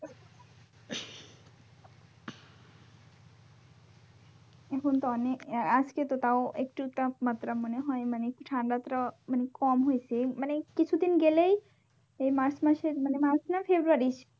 এখন তো অনেক আহ আজকে তো তাও একটু তাপমাত্রা মনে হয় মানে ঠান্ডাটা মানে কম হইসে মানে কিছুদিন গেলেই এই March মাসে মানে March না February